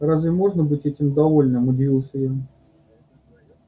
разве можно быть этим довольным удивился я